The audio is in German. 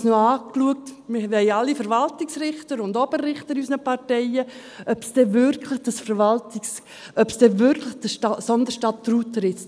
Und ich habe es noch angeschaut – wir haben alle Verwaltungsrichter und Oberrichter in unseren Parteien –, ob es denn wirklich dieses Sonderstatut ritzt.